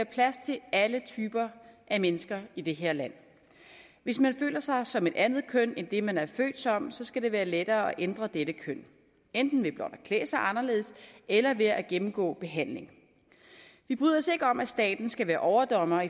plads til alle typer af mennesker i det her land hvis man føler sig som et andet køn end det man er født som så skal det være lettere at ændre dette køn enten ved blot at klæde sig anderledes eller ved at gennemgå behandling vi bryder os ikke om at staten skal være overdommer